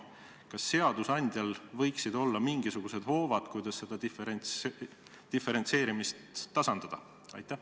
Kas seadusandjal võiksid olla mingisugused hoovad, et seda diferentseeritust tasandada?